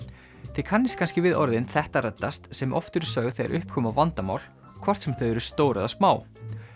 þið kannist kannski við orðin þetta reddast sem oft eru sögð þegar upp koma vandamál hvort sem þau eru stór eða smá